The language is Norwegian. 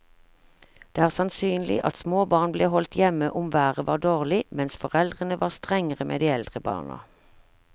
Det er sannsynlig at små barn ble holdt hjemme om været var dårlig, mens foreldrene var strengere med de eldre barna.